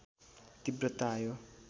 तीव्रता आयो